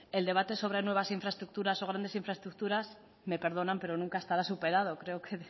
el debate sobre nuevas infraestructuras o grandes infraestructuras me perdonan pero nunca estará superado creo que